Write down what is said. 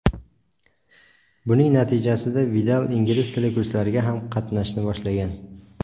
Buning natijasida Vidal ingliz tili kurslariga ham qatnashni boshlagan.